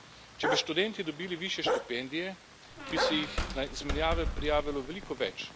Če bi študenti dobili višje štipendije, bi se jih na izmenjave prijavilo veliko več.